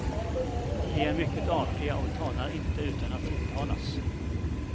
De är mycket artiga och talar inte utan att tilltalas.